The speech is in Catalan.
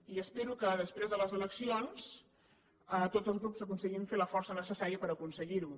i espero que després de les eleccions tots els grups aconseguim fer la força necessària per aconseguir ho